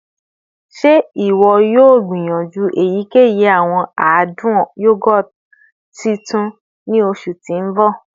Ṣe iwọ yoo gbiyanju eyikeyi awọn adun yogurt tuntun ni oṣu ti n bọ?